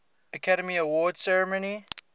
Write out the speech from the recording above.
academy awards ceremony